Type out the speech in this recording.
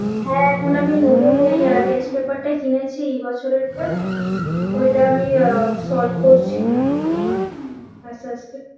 হ্যাঁ এখন আমি নতুন এই আহ test paper টাই কিনেছি এ বছরের টা ওইটা আমি আহ solve করছি আসতে আসতে